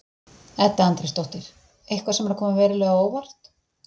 Edda Andrésdóttir: Eitthvað sem er að koma verulega á óvart?